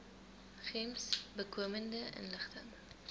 gems bykomende inligting